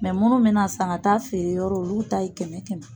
munnu be na san ka taa feere yɔrɔ olu ta ye kɛmɛ kɛmɛ ye.